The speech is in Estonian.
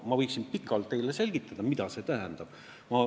Ma võiksin pikalt teile selgitada, mida see tähendab.